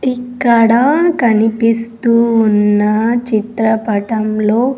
ఇక్కడ కనిపిస్తూ ఉన్న చిత్రపటంలో.